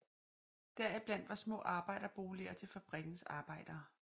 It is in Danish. Deriblandt var små arbejderboliger til fabrikkens arbejdere